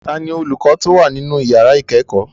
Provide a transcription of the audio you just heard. Ta ni olùkọ tó wà nínú yàrá ìkẹ́kọ̀ọ́?